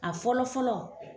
A fɔlɔ fɔlɔ